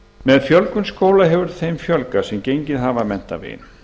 með fjölgun skóla hefur þeim fjölgað sem gengið hafa menntaveginn